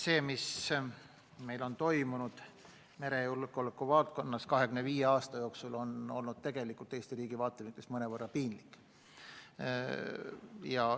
See, mis meil on toimunud merejulgeoleku valdkonnas 25 aasta jooksul, on tegelikult Eesti riigi vaatevinklist mõnevõrra piinlik.